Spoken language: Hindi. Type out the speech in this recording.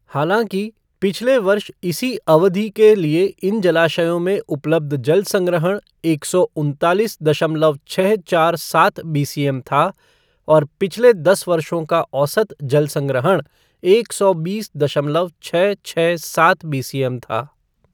हालांकि, पिछले वर्ष इसी अवधि के लिए इन जलाशयों में उपलब्ध जल संग्रहण एक सौ उनतालीस दशमलव छः चार सात बीसीएम था और पिछले दस वर्षों का औसत जल संग्रहण एक सौ बीस दशमलव छः छः सात बीसीएम था।